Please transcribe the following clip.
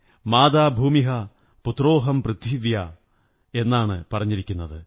മാതാ ഭൂമിഃ പുത്രോഹം പൃഥിവ്യാഃ എന്നാണ് പറഞ്ഞിരിക്കുന്നത്